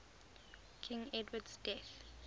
king edward's death